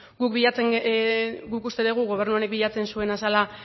guk uste dugu gobernu honek bilatzen zuena zela